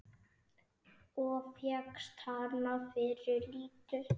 Og fékkst hana fyrir lítið!